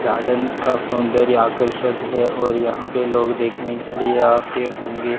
Garden का सौंदर्य आकर्षक है और यहां पे लोग देखने के लिए आते होंगे।